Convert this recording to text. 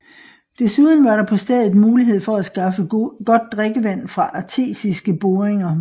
Desuden var der på stedet mulighed for at skaffe godt drikkevand fra artesiske boringer